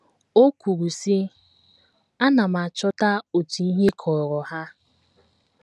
O kwuru sị: “ Ana m achọta otu ihe kọọrọ ha.